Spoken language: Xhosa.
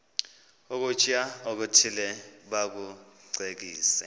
ukutya okuthile bakucekise